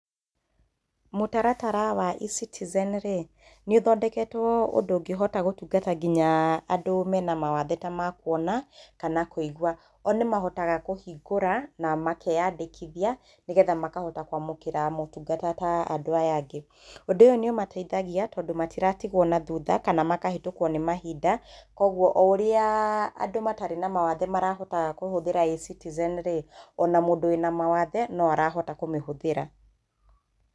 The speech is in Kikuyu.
Mũtaratara wa eCitizen rĩ, nĩ ũthondeketwo ũndũ ũngĩhota gũtungata nginya andũ mena mawathe ta ma kũona kana kũigwa. O nĩ mahotaga kũhingũra na makeandĩkithia nĩgetha makahota kũamũkĩra maũtungata ta andũ aya angĩ. Ũndũ ũyũ nĩ ũmateithagia tondũ matiratigwo na thutha kana makahĩtũkwo nĩ mahinda. Kwoguo, o ũrĩa andũ matarĩ na mawathe marahota kũhũthĩra eCitizen rĩ, o na mũndũ wĩna mawathe no arahota kumĩhũthĩra.